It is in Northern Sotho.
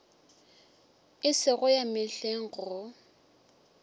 e sego ya mehleng go